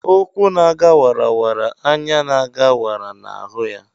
ukwu na a ga wara, anya na aga wara na hu ya.